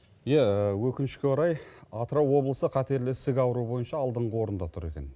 иә өкінішке орай атырау облысы қатерлі ісік ауруы бойынша алдыңғы орында тұр екен